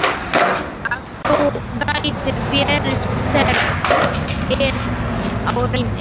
Að þú getir verið sterk ef á reynir.